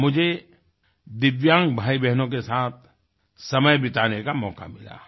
वहाँ मुझे दिव्यांग भाईबहनों के साथ समय बिताने का मौका मिला